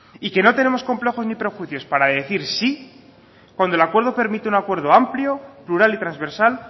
y que no tenemos complejos ni prejuicios para decir sí cuando el acuerdo permite un acuerdo amplio plural y transversal